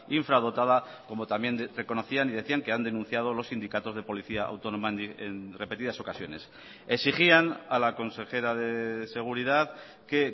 infradotada como también reconocían y decían que han denunciado los sindicatos de policía autónoma en repetidas ocasiones exigían a la consejera de seguridad que